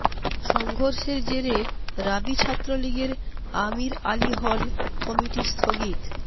সংঘর্ষের জেরে রাবি ছাত্রলীগের আমীর আলী হল কমিটি স্থগিত